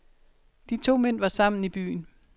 De to mænd var sammen i byen.